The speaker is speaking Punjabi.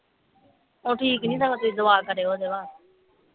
ਉਹ ਠੀਕ ਨਹੀਂ ਸਗੋਂ ਦੀ ਦੁਆ ਕਰਿਓ ਓਹਦੇ ਵਾਸਤੇ